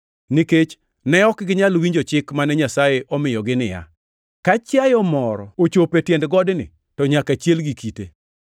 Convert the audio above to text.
nikech ne ok ginyal winjo chik mane Nyasaye omiyogi niya, “Ka chiayo moro ochopo e tiend godni to nyaka chiel gi kite.” + 12:20 \+xt Wuo 19:12,13\+xt*